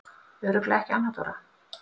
Örugglega ekki Anna Dóra?